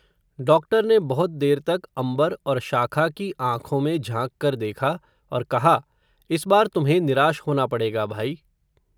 doctor ने बहुत देर तक, अंबर और शाखा की आंखों में झांक कर, देखा और कहा, इस बार तुम्हें निराश होना पडेग़ा भाई